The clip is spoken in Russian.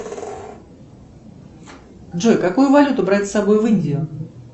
джой какую валюту брать с собой в индию